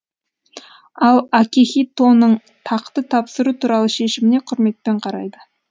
ал акихитоның тақты тапсыру туралы шешіміне құрметпен қарайды